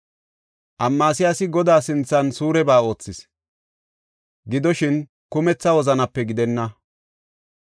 Amasiyaasi Godaa sinthan suureba oothis; gidoshin, kumetha wozanape gidenna.